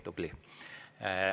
Tubli!